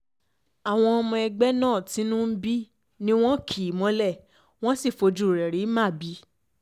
àwọn ọmọ ẹgbẹ́ náà tínú ń bí ni wọn kì í mọlé wọ́n sì fojú rẹ̀ rí màbí